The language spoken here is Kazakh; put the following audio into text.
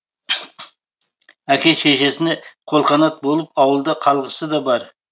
әке шешесіне қолқанат болып ауылда қалғысы да бар